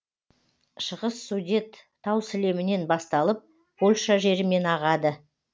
шығыс судет тау сілемінен басталып польша жерімен ағады